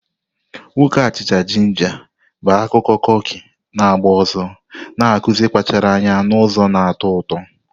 Nwoke achicha-jinja bụ akụkọ kuki na-agba ọsọ, na-akụzi ịkpachara anya n'ụzọ na-atọ ụtọ.